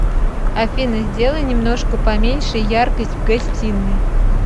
афина сделай немножко поменьше яркость в гостиной